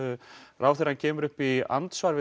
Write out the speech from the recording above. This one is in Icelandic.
ráðherra kemur upp í andsvari við